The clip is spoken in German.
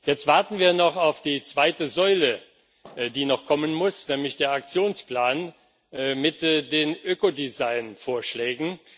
Jetzt warten wir noch auf die zweite Säule, die noch kommen muss, nämlich der Aktionsplan mit den Ökodesign Vorschlägen.